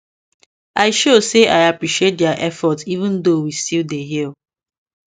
i show say i appreciate their efforts even though we still dey heal